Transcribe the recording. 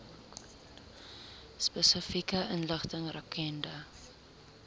spesifieke inligting rakende